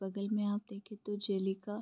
बगल में आप देखे तो जेली का --